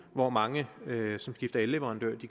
hvor mange som skifter elleverandør